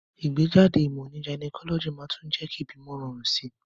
Ìgbéjáde ìmò ní gynecology màá tún jé kí ìbímo rorùn sí